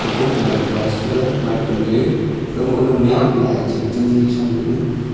komka naw putpa chetaiga mipe tamley khawme lahih chingjang jih sham laley.